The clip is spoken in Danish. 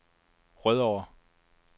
Rødovre